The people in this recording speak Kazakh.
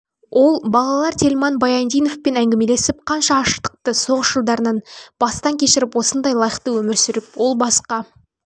балалар тельман баяндиновпен әңгімелесіп қанша аштықты соғыс жылдарын бастан кешіріп осындай лайықты өмір сүріп ол басқа